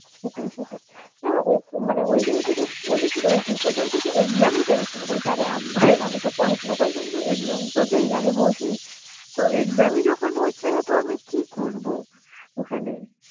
সেটাই সেটাই হ্যাঁ ও~ মানে ওই জায়গাটা যে বলেছিলো ওই দিদিটা বলছে যে exam ই বেরোচ্ছে না বলছে আরে আমার আমি তো পড়াশোনা করেছি আমি তো exam তো দি আগে বসি তো exam ই যখন হচ্ছে না তো আমি কি করবো ওখানে?